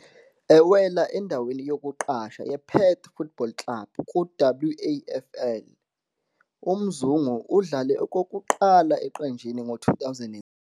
Ewela endaweni yokuqasha yePerth Football Club ku-WAFL, uMzungu udlale okokuqala eqenjini ngo-2006.